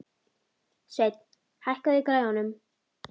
Sveinn, hækkaðu í græjunum.